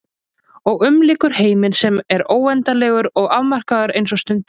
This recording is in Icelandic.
Og umlykur heiminn sem er óendanlegur og afmarkaður eins og stundin.